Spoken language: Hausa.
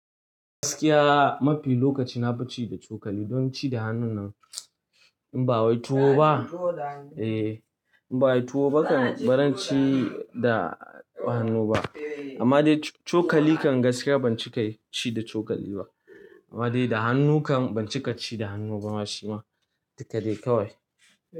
Gaskiya mafi lokaci na fi ci da cokali. Don ci da hannu nan in ba wai tuwo ba. In ba wai tuwo ba kan baran ci da hannu ba. Amma dai cokali kan gaskiya ban cika ci da cokali ba. Amma dai da hannu kan ban cika ci da hannu ba ma shi ma. Duka dai kawai.